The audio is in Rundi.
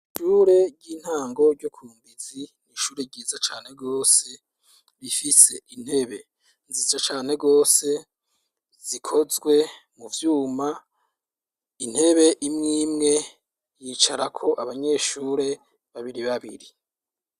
Ishure ry'intango ryo ku Mbizi ni ishure ryiza cane gose, rifise intebe nziza cane gose zikozwe mu vyuma ,intebe imwe imwe yicarako abanyeshure babiri babiri.